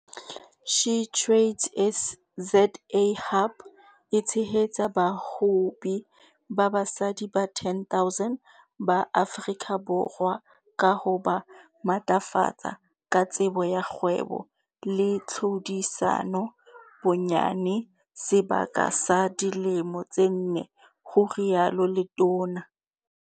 SheTradesZA Hub e tshehetsa bahwebi ba basadi ba 10 000 ba Afrika Borwa ka ho ba matlafatsa ka tsebo ya kgwebo le tlhodisano bonyane sebaka sa dilemo tse nne, ho rialo letona.